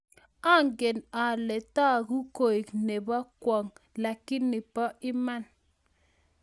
angel ale tagu koek nebo kwong lakini po iman